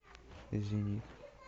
извини